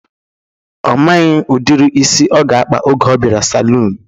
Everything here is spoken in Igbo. Ọ maghị udiri isi ọ ga-akpa oge ọ bịara saluun